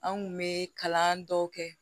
An kun be kalan dɔw kɛ